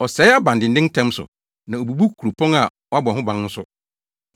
Ɔsɛe abandennen ntɛm so na obubu kuropɔn a wɔabɔ ho ban nso,